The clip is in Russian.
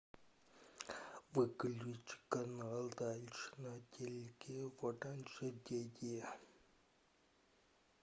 выключи канал дальше на телике в оранжерее